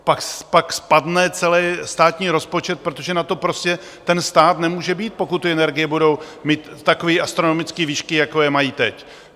Pak spadne celý státní rozpočet, protože na to prostě ten stát nemůže mít, pokud ty energie budou mít takové astronomické výšky, jako je mají teď.